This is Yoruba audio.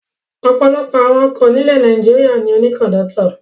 Ọ̀pọ̀lọpọ̀ awọn ọkọ̀ nílẹ̀ Nàìjíríà ni ó ní kọ̀ńdọ́tọ̀.